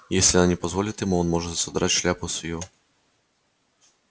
если она не позволит ему он может содрать шляпку с её